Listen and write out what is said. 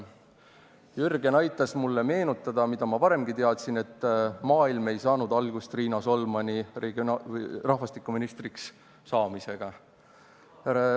Jürgen aitas mulle meenutada seda, mida ma varemgi teadsin, nimelt, et maailm ei saanud algust Riina Solmani rahvastikuministriks saamisega.